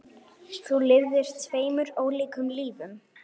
Þú lifðir tveimur ólíkum lífum.